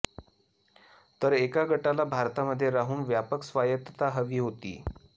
तर एका गटाला भारतामध्ये राहून व्यापक स्वायतत्ता हवी होती